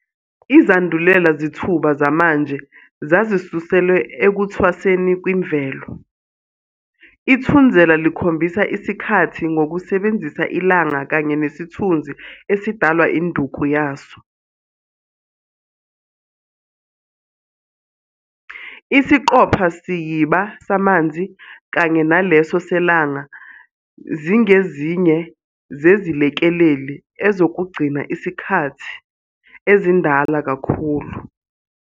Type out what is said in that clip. Izandulela zithuba zamanje zazisuselwe ekuthwaseni kwimvelo- ithunzela likhombhisa isikhathi ngokusebenzisa ilanga kanye nesithunzi esidalwa induku yaso. Isiqophasiyiba samanzi, kanye naleso seLanga zingezinye zezilekeleli ezokugcina isikhathi ezindala kakhulu.